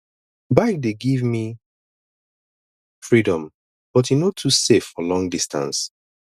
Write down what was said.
bike dey give me freedom but e no too safe for long distance